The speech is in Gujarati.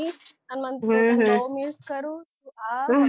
અન મન બઉ miss કરૂ આ